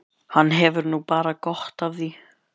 Og hann hefur nú bara gott af því.